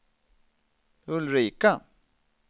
Ulrika